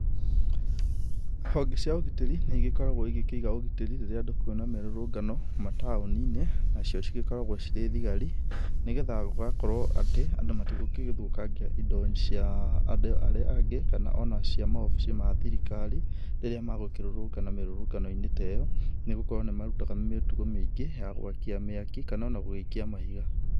Honge cia ũgitĩri, nĩ igĩkoragwo igĩkĩiga ũgitĩri rĩrĩa andũ kwĩna mĩrũrũngano, mataũni-inĩ, nacio cigĩkoragwo cirĩ thigari, nĩgetha gũgakorwo atĩ andũ matigũgĩthũkangia indo cia andũ arĩa angĩ kana o na cia maobici ma thirikari, rĩrĩa magũkĩrũrũngana mĩrũrũngano ta ĩyo nĩ gũkorwo nĩ makĩrutaga mĩtugo mĩingĩ ya gwakia mĩaki, kana ona gũgĩikia mahiga.